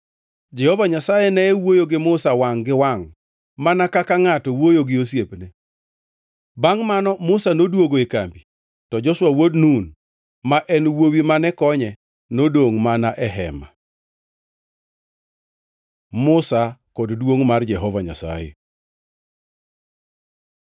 Jehova Nyasaye ne wuoyo gi Musa wangʼ gi wangʼ mana ka ngʼato ma wuoyo gi osiepne. Bangʼ mano Musa noduogo e kambi, to Joshua wuod Nun, ma en wuowi mane konye nodongʼ mana e Hema. Musa kod duongʼ mar Jehova Nyasaye